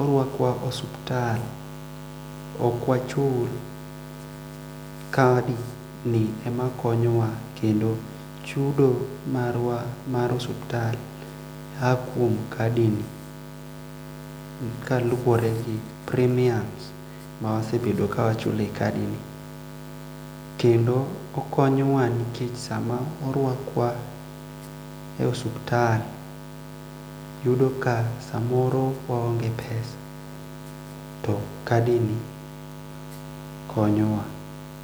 orwakwa osuptal okwachul kadi ni ema konyo wa kendo chudo marwa mar osuptal aa kuom kadi ni kaluore gi premiums ma wasebedo ka wachulo e kadini kendo okonyowa ni kech sama orwakwa e osuptal yudo ka samo waong'e pesa to kadi ni konyowa.